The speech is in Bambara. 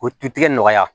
O tu tigɛ nɔgɔya